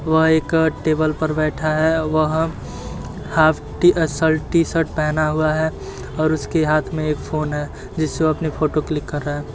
वह एक अ टेबल पर बैठा है वह हाफ शर्ट टी-शर्ट पहना हुआ है और उसके हाथ में एक फ़ोन है जिससे वो अपनी फोटो क्लिक कर रहा है।